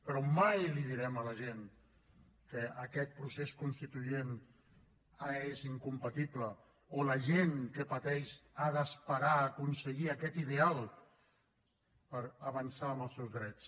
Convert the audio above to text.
però mai direm a la gent que aquest procés constituent és incompatible o que la gent que pateix ha d’esperar a aconseguir aquest ideal per avançar en els seus drets